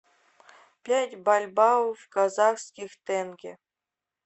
пять бальбоа в казахских тенге